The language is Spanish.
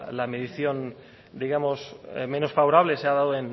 la medición digamos menos favorable se ha dado